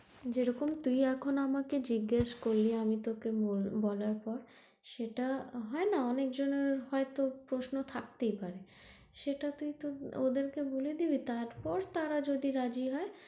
যেরকম তুইএখন আমাকে জিজ্ঞেস করলি আমি তোকে বল~বলার পর সেটা হয়না অনেকজনের হয়তো প্রশ্ন থাকতেই পারে সেটা তুই তর ওদেরকে বলে দিবি তারপর তাঁরা যদি রাজি হয়,